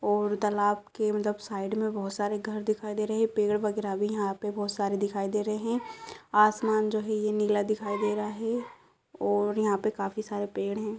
और तालाब के एकदम साइड में बोहोत सारे घर दिखाई दे रहे हैं। पेड़ वगैरह भी यहाँ पे बहोत सारे दिखाई दे रहे हैं। आसमान जो है यह नीला दिखाई दे रहा है और यहाँ पे काफी सारे पेड़ है।